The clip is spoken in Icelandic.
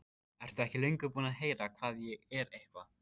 Ertu ekki löngu búinn að heyra hvað ég er eitthvað.